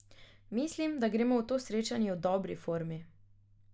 Mislim, da gremo v to srečanje v dobri formi.